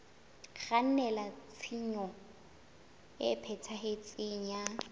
kgannela tshenyong e phethahetseng ya